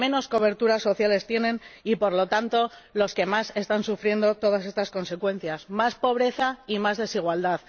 los que menos cobertura social tienen y, por lo tanto, los que más están sufriendo todas estas consecuencias más pobreza y más desigualdad.